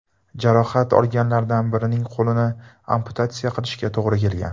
Jarohat olganlardan birining qo‘lini amputatsiya qilishga to‘g‘ri kelgan.